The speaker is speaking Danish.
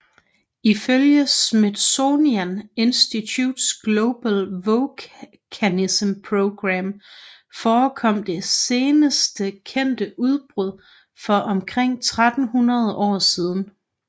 Ifølge Smithsonian Institutions Global Volcanism Program forekom det seneste kendte udbrud for omkring 1300 år siden